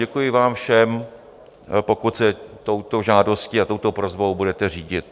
Děkuji vám všem, pokud se touto žádostí a touto prosbou budete řídit.